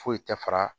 Foyi tɛ fara